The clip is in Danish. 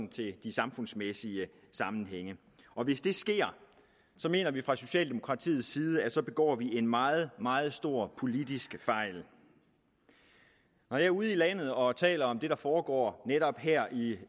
til samfundsmæssige sammenhænge hvis det sker mener vi fra socialdemokratiets side at vi så begår en meget meget stor politisk fejl når jeg er ude i landet og taler om det der foregår netop her i